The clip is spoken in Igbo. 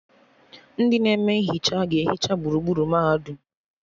Ndị na-eme nhicha ga-ehicha gburugburu mahadum